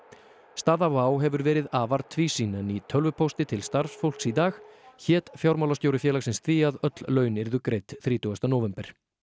staða Wow hefur verið afar tvísýn en í tölvupósti til starfsfólks í dag hét fjármálastjóri félagsins því að öll laun yrðu greidd þrítugasta nóvember